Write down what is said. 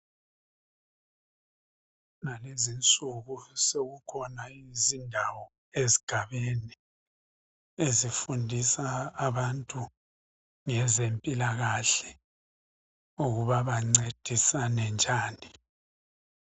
kulezinsuku sekukhona izindawo ezigabeni ezifundisa abantu ngezempilakahle ukuba bancedisane njani